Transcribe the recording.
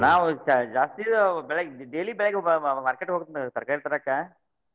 ನಾವ್ ಜಾ~ ಜಾಸ್ತಿ ಬೆಳಿಗ್ಗ್ daily ಬೆಳಿಗ್ಗೆ market ಹೋಗ್ತನ ತರಕಾರಿ ತರಾಕ.